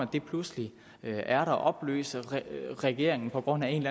det pludselig er der opløse regeringen på grund af en